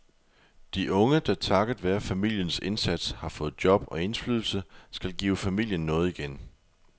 De unge, der takket være familiens indsats har fået job og indflydelse, skal give familien noget igen.